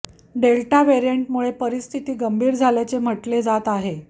delta वेरिएंटमुळे परिस्थितीती गंभीर झाल्याचे म्हटले जात आहे